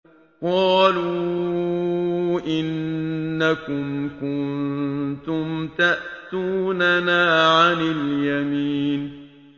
قَالُوا إِنَّكُمْ كُنتُمْ تَأْتُونَنَا عَنِ الْيَمِينِ